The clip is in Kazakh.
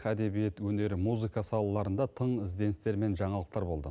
әдебиет өнер музыка салаларында тың ізденістер мен жаңалықтар болды